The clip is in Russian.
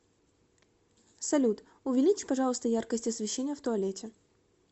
салют увеличь пожалуйста яркость освещения в туалете